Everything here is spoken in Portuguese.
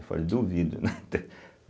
Eu falei, duvido, né? ter